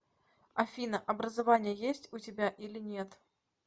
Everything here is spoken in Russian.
афина образование есть у тебя или нет